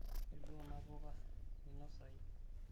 kedua kuna ouka meinosaiu